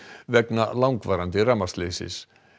vegna langvarandi rafmagnsleysis